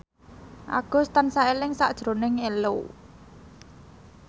Agus tansah eling sakjroning Ello